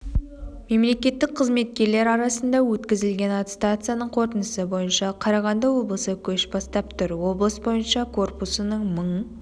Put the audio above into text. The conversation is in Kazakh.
мемлекеттік қызметкерлер арасында өткізілген аттестацияның қорытындысы бойынша қарағанды облысы көш бастап тұр облыс бойынша корпусының мың